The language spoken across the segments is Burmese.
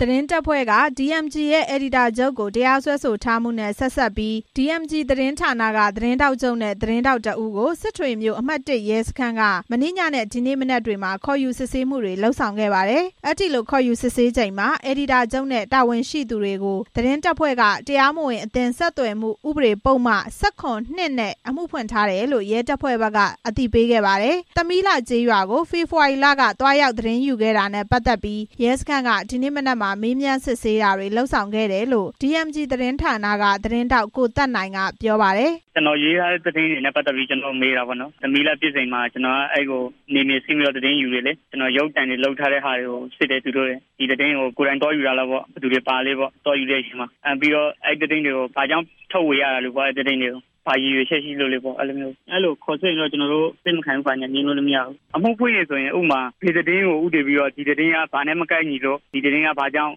သတင်းတပ်ဖွဲ့က DMG အယ်ဒီတာချုပ်ကို တရားစွဲဆိုထားမှုနဲ့ ဆက်စပ်ပြီး DMG သတင်းဌာနက သတင်းထောက်ချုပ်နဲ့ သတင်းထောက် တစ်ဦးကို အမှတ်(၁) ရဲစခန်းက မနေ့ညနဲ့ ဒီနေ့မနက်တွေမှာ ခေါ်ယူစစ်ဆေးတာတွေ ဆောင်ရွက်ခဲ့ပါတယ်။ အဲဒီလိုခေါ်ယူစစ်ဆေးချိန်မှာ အယ်ဒီတာချုပ်နဲ့ တာဝန်ရှိသူတွေကို သတင်းတပ်ဖွဲ့က တရားမဝင် အသင်း ဆက်သွယ်မှုဥပဒေပုဒ်မ ၁၇ (၂) နဲ့ အမှုဖွင့်ထားတယ်လို့ ရဲတပ်ဖွဲ့က အသိပေးခဲ့ပါတယ်။ သမီးလှကျေးရွာကို ဖေဖော်ဝါရီလက သတင်းသွားရောက်ယူခဲ့တာနဲ့ ပတ်သက်ပြီး ရဲစခန်းက ဒီနေ့မနက်မှာ မေးမြန်းစစ်ဆေးတာတွေလုပ်ခဲ့တယ်လို့ DMG သတင်းဌာနက သတင်းထောက် ကိုသက်နိုင်က ပြောပါတယ်။ "ကျွန်တော်ရေးထားတဲ့သတင်းတွေနဲ့ ပတ်သက်ပြီး ကျွန်တော့်ကိုမေးတာပေါ့နော်။ သမီးလှဖြစ်စဉ်မှာ ကျွန်တော်နယ်မြေဆင်းပြီး သတင်းယူတယ်လေ။ ရုပ်သံတွေ လုပ်ထားတာတွေကို စစ်တယ် သူတို့တွေ၊ ဒီသတင်းကို ကိုယ်တိုင်သွားယူတာလား။ ဘယ်သူတွေပါလဲ။ သွားယူတဲ့အချိန်မှာ အဲ့သတင်းတွေကို ဘာကြောင့် ထုတ်ဝေရတာလဲ။ ဘာရည်ရွယ်ချက်ရှိလို့လဲ။ အဲ့လိုခေါ်စစ်ရင် ကျွန်တော်တို့ အစစ်မခံဘူး ကျွန်တော်တို့ ငြင်းလို့မရဘူး။ အမှုဖွင့်ရင်တော့ ဒီသတင်းက ဘာနဲ့မကိုက်ညီလို့ ဘာကြောင့်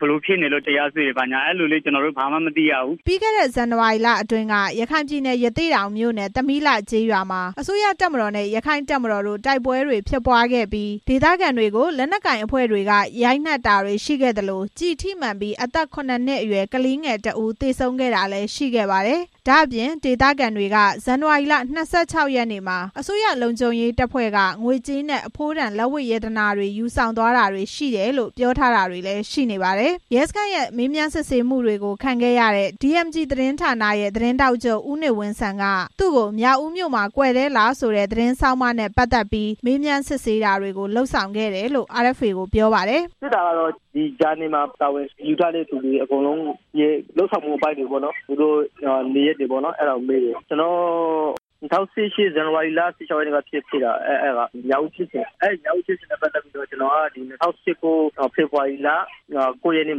ဘယ်လို ဖြစ်နေလို့ ကျွန်တော်တို့ ဘာမှမသိရဘူး" ပြီးခဲ့တဲ့ ဇန်နဝါရီလအတွင်းက ရခိုင်ပြည်နယ်၊ ရသေ့တောင်မြို့နယ်၊ သမီးလှကျေးရွာမှာ အစိုးရတပ်မတော်နဲ့ ရက္ခိုင့်တပ်မတော်တို့ တိုက်ပွဲတွေဖြစ်ပွားခဲ့ပြီး ဒေသခံတွေကို လက်နက်ကိုင်အဖွဲ့တွေက ရိုက်နှက်တာတွေနဲ့ ကျည်ထိမှန်ပြီး အသက် ၇ နှစ်အရွယ် ကလေးငယ်တစ်ဦး သေဆုံးခဲ့ပါတယ်။ ဒါ့အပြင်ဒေသခံတွေက ဇန်နဝါရီလ ၂၆ ရက်နေ့မှာ အစိုးရလုံခြုံရေးတပ်ဖွဲ့က ငွေကြေးနဲ့ အဖိုးတန်လက်ဝတ်ရတနာတွေ ယူဆောင်သွားတယ်လို့ ပြောထားတာတွေ ရှိပါတယ်။ ရဲစခန်းရဲ့ မေးမြန်းစစ်ဆေးမှုကို ခံခဲ့ရတဲ့ DMG သတင်းဌာနရဲ့ သတင်းထောက်ချုပ် ဦးနေဝင်းစံက သူကို မြောက်ဦးမြို့မှာ ကွယ်တဲ့လဆိုတဲ့ သတင်းဆောင်းပါးနဲ့ ပတ်သက်ပြီး မေးမြန်းစစ်ဆေးတာတွေ လုပ်ခဲ့တယ်လို့ ပြောပါတယ်။ "စစ်တာကတော့ ဒီဂျာနယ်မှာ တာဝန်ယူထားတဲ့သူတွေရဲ့ လုပ်ဆောင်မှုတွေ၊ နေရပ်တွေ၊ ၂၀၁၈ ခုနှစ် ဇန်နဝါရီလ ၁၆ ရက်နေ့မှာ ဖြစ်ခဲ့တဲ့ မြောက်ဦးဖြစ်စဉ်နဲ့ ပတ်သက်ပြီး ကျွန်တော်က ၂၀၁၉ ဖေဖော်ဝါရီလ ၉ ရက်နေ့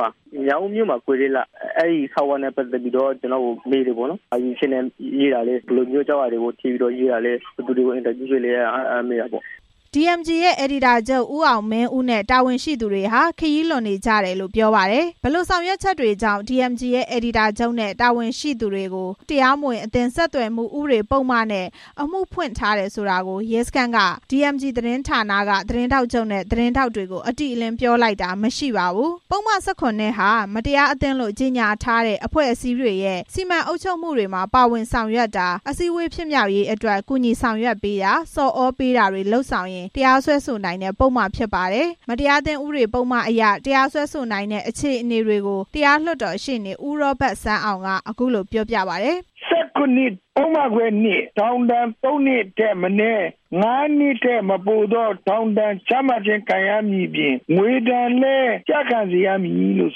မှာ ရေးတဲ့ မြောက်ဦးမြို့မှာကွယ်တဲ့လ အဲဒီဆောင်းပါးနဲ့ပတ်သက်ပြီး ကျွန်တော့််ကိုမေးတယ်။ ဘယ်လိုရည်ရွယ်ချက်ကြောင့်ရေးတာလဲ။ ဘာကြောင့်ရေးတာလဲ။ ဘယ်သူတွေကို မေးပြီးရေးတာလည်းပေါ့" အယ်ဒီတာချုပ် ဦးအောင်မင်းဦးနဲ့ တာဝန်ရှိလူကြီးတွေဟာ ခရီးလွန်နေကြတယ်လို့ ပြောပါတယ်။ ဘယ်လိုဆောင်ရွက်ချက်တွေကြောင့် DMG ရဲ့ အယ်ဒီတာချုပ်နဲ့ တာဝန်ရှိသူတွေကို တရားမဝင် အသင်း ဆက်သွယ်မှုဥပဒေပုဒ်မနဲ့ အမှုခံထားရတယ်ဆိုတာကို ရဲစခန်းက DMG သတင်းဌာနက သတင်းထောက်ချုပ်နဲ့ သတင်းထောက်တို့ကို အတိအလင်း ပြောလိုက်တာမရှိပါဘူး။ ပုဒ်မ ၁၇ (၂) ဟာ မတရားအသင်းလိုကြေညာထားတဲ့ အဖွဲ့အစည်းတွေရဲ့ စီမံအုပ်ချုပ်မှုမှာ ပါဝင်ဆောင်ရွက်တာ၊ အစည်းအဝေးဖြစ်မြောက်ရေးအတွက် ကူညီဆောင်ရွက်ပေးတာ၊ ဆော်သြပေးတာတွေ လုပ်ဆောင်ရင် တရားစွဲဆိုနိုင်တဲ့ ပုဒ်မဖြစ်ပါတယ်။ မတရားအသင်းဥပဒေပုဒ်မအရ တရားစွဲဆိုနိုင်တဲ့ အခြေအနေတွေကို တရားလွှတ်တော်ရှေ့နေ ဦးရောဘတ်စန်းအောင်က အခုလို ပြောပြပါတယ်။ "၁၇ ပုဒ်မ ခွဲ (၂) ထောင်ဒဏ် ၃ နှစ်ထက်မနည်း ၅ နှစ်ထက်မပိုသော ထောင်ဒဏ်ကျခံရမှာဖြစ်တဲ့ အပြင် ငွေဒဏ်လည်းကျခံရမည်လို့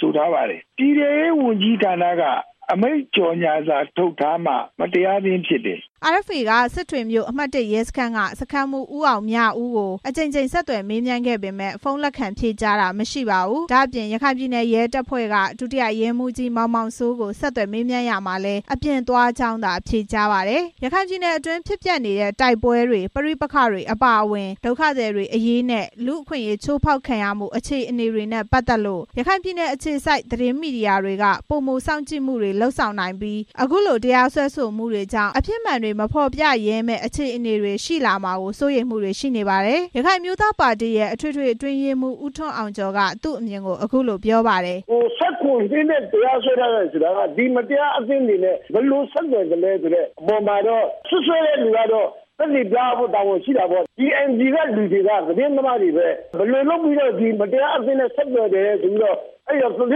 ဖော်ပြထားပါတယ်။ ပြည်ထဲရေးဝန်ကြီးဌာနက အမိန့်ကြေညာစာ ထုတ်ထားမှ မတရားအသင်းဖြစ်တယ်" RFA က စစ်တွေမြို့၊ အမှတ်(၁) ရဲစခန်းက စခန်းမှုး ဦးအောင်မြဦးကို အကြိမ်ကြိမ် ဆက်သွယ်မေးမြန်းခဲ့ပေမယ့် ဖုန်းလက်ခံဖြေကြားတာမရှိပါဘူး။ ဒါ့အပြင် ရခိုင်ပြည်နယ် ရဲတပ်ဖွဲ့က ဒုတိယရဲမှူးကြီး မောင်မောင်စိုးကို ဆက်သွယ်ရာမှာလည်း အပြင်သွားကြောင်းသာ ဖြေကြားပါတယ်။ ရခိုင်ပြည်နယ်အတွင်း ဖြစ်ပျက်နေတဲ့ တိုက်ပွဲတွေ၊ ပဋိပက္ခတွေအပါအဝင် ဒုက္ခသည်အရေးတွေနဲ့ လူ့အခွင့်အရေးချိုးဖောက်ခံရမှုအခြေအနေတွေနဲ့ ပတ်သက်လို့ ရခိုင်ပြည်နယ်အခြေစိုက် သတင်းမီဒီယာတွေက ပိုမိုစောင့်ကြည့်မှုတွေ လုပ်ဆောင်နိုင်ပြီး အခုလို တရားစွဲဆိုမှုတွေကြောင့် အဖြစ်မှန်တွေ မဖော်ပြရဲမယ့် အခြေအနေတွေရှိလာမှာကို စိုးရိမ်မှုတွေရှိနေပါတယ်။ ရခိုင်အမျိုးသားပါတီရဲ့ အထွေထွေအတွင်းရေးမှူး ဦးထွန်းအောင်ကျော်က သူ့အမြင်ကို အခုလို ပြောပါတယ်။ "၁၇ (၂) နဲ့ အမှုဖွင့်ထားတာမှာ မတရားအသင်းတွေနဲ့ ဘယ်လိုဆက်သွယ်သလဲဆိုတဲ့ အပေါ်မှာ စွပ်စွဲတဲ့သူက သက်သေပြရမယ့် တာဝန်ရှိတာပေါ့။ DMG ကလူတွေက သတင်းသမားတွေပဲ။ ဘယ်လိုကြောင့် သတင်းသမားတွေကို မတရားအသင်းနဲ့ ဆက်သွယ်တယ်ဆိုပြီး သတ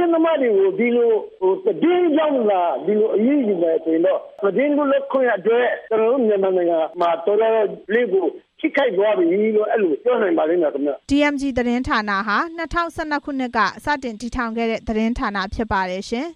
င်းသမားတွေကို သတင်းကြောင့်သာ ဒီလိုအရေးယူမယ်ဆိုရင် သတင်းလွတ်လပ်ခွင့်အတွက် ကျွန်တော်တို့ နိုင်ငံမှာ တော်တော်ထိခိုက်သွားပြီလို့ အဲလိုပြောနိုင်ပါလိမ့်မယ်ခင်ဗျ" DMG သတင်းဌာနဟာ ၂၀၁၂ ခုနှစ်က စတင်တည်ထောင်ခဲ့တဲ့ သတင်းဌာနဖြစ်ပါတယ်ရှင်